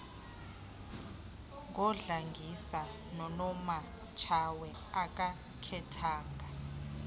ngodlangisa nonomatshawe akakhethanga